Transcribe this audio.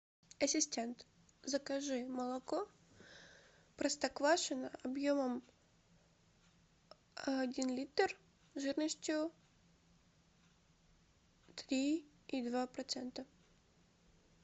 ассистент закажи молоко простоквашино объемом один литр жирностью три и два процента